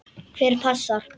Hver passar?